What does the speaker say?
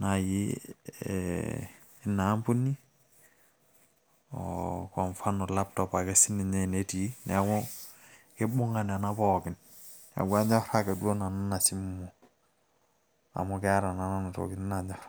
naai ina ampuni kwa mfano laptop naji enaa ketii. neeku anyor nanu ina simu.